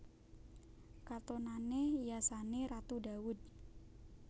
Katonané yasané Ratu Dawud